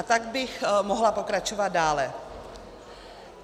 A tak bych mohla pokračovat dále.